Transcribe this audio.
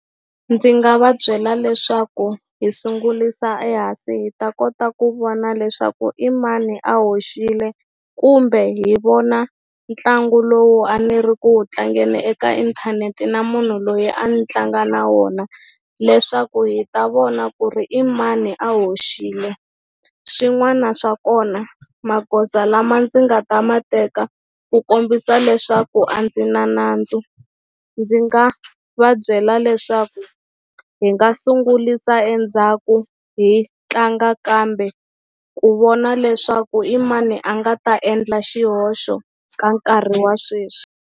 Ndzi nga va byela leswaku hi sungulisa ehansi hi ta kota ku vona leswaku i mani a hoxile kumbe hi vona ntlangu lowu a ni ri ku wu tlangeni eka inthanete na munhu loyi a ni tlanga na wona leswaku hi ta vona ku ri i mani a hoxile xin'wana xa kona magoza lama ndzi nga ta ma teka ku kombisa leswaku a ndzi na nandzu ndzi nga va byela leswaku hi nga sungulisa endzhaku hi tlanga kambe ku vona leswaku i mani a nga ta endla xihoxo ka nkarhi wa sweswi.